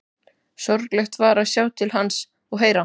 Sorglegt var að sjá til hans og heyra.